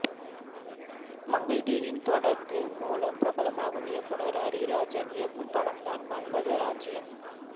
மங்கை TV தொடர் மூலம் பிரபலமான இயக்குநர் அரிராஜன் இயக்கும் படம்தான் மன்மதராஜ்ஜியம்